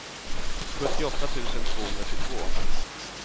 sjuttioåtta tusen tvåhundratjugotvå